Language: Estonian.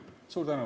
Suur tänu!